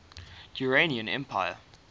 durrani empire